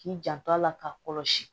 K'i janto a la k'a kɔlɔsi